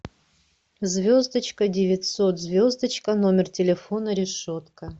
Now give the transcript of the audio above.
звездочка девятьсот звездочка номер телефона решетка